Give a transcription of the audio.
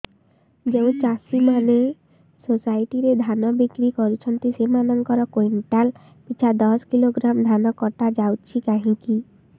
ଯେଉଁ ଚାଷୀ ମାନେ ସୋସାଇଟି ରେ ଧାନ ବିକ୍ରି କରୁଛନ୍ତି ସେମାନଙ୍କର କୁଇଣ୍ଟାଲ ପିଛା ଦଶ କିଲୋଗ୍ରାମ ଧାନ କଟା ଯାଉଛି କାହିଁକି